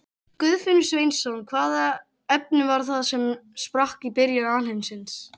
Guðfinnur Sveinsson Hvaða efni var það sem sprakk í byrjun alheimsins?